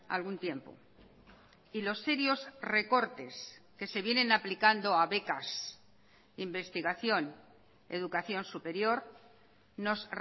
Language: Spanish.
algún tiempo y los serios recortes que se vienen aplicando a becas investigación educación superior nos